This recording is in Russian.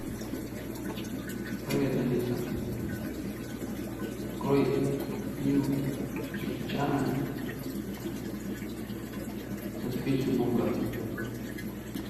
привет алиса открой фильм джеки чана доспехи бога